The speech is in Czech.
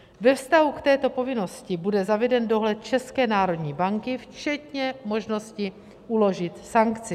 Ve vztahu k této povinnosti bude zaveden dohled České národní banky, včetně možnosti uložit sankci.